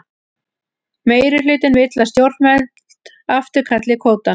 Meirihlutinn vill að stjórnvöld afturkalli kvótann